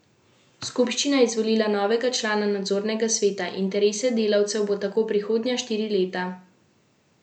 Skupščina je izvolila novega člana nadzornega sveta, interese delavcev bo tako prihodnja štiri leta zastopal Egon Fornazarič.